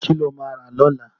Kí lo máa rà lọ́la?